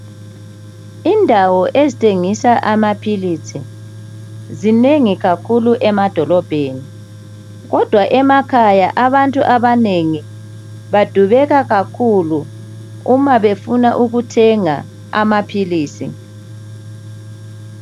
indawo ezithengisa amaphilisi zinengi kakhulu emadolobheni kodwa emakhaya abantu abanengi badubeka kakhulu uma befuna ukuthenga amaphilisi